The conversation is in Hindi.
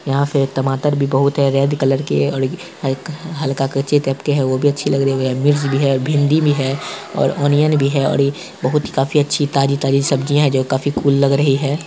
यहाँ पे टमाटर भी बहुत है रेड कलर के है और हल्का हल्का कच्चे टाइप के है वो भी अच्छी लग रही है मिर्च भी है भिंडी भी है और ओनियन भी है और ये बहुत ही काफी अच्छी ताजी-ताजी सब्जियाँ हैं जो काफी कुल लग रही है।